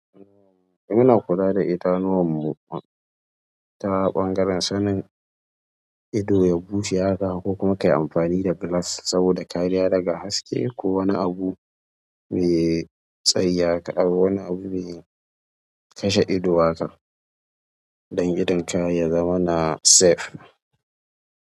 Muna kula da idanuwar mu ta ɓangaren sanin ido ya bushe haka ko kuma kayi amfani da glass saboda kariya daga haske ko wani abu mai tsayi haka ko wani abu mai kashe ido waƙar don idon ka ya zama na safe.